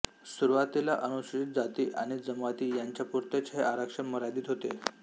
सुरुवातीला अनुसूचित जाती आणि जमाती यांच्यापुरतेच हे आरक्षण मर्यादित होते